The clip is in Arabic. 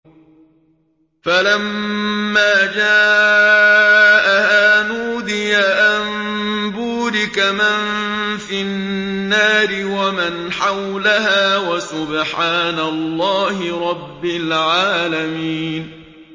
فَلَمَّا جَاءَهَا نُودِيَ أَن بُورِكَ مَن فِي النَّارِ وَمَنْ حَوْلَهَا وَسُبْحَانَ اللَّهِ رَبِّ الْعَالَمِينَ